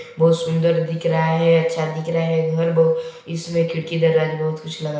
बहुत सुन्दर दिख रहा है अच्छा दिख रहा है घर बहुत इसमें खिड़की दरवाजे बहुत कुछ लगा--